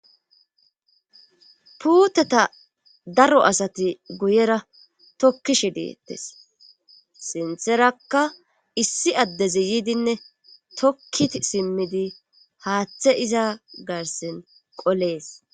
puuteta daro asati guyera tokkishe deettes sintherakka issi addezi yiidinne tokki simmidi haaththe iza garsin qolees